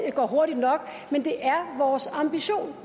ikke går hurtigt nok men det er vores ambition